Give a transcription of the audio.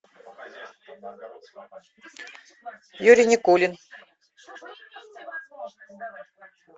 юрий никулин